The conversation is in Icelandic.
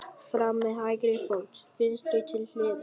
Fram með hægri fót. vinstri til hliðar.